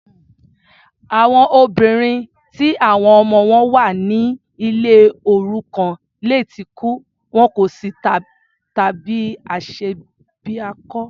Àwọn òbí ti àwọn ọmọ wọn wà ní ilé òrukàn lè tí kú, wọn kò sí tàbí aṣebiakọ.